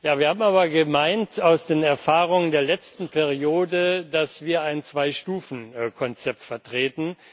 Wir haben aber gemeint, aus den Erfahrungen der letzten Periode, dass wir ein Zwei Stufen Konzept vertreten.